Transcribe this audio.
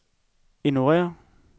ignorér